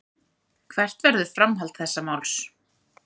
Hvert verður framhald þessa máls.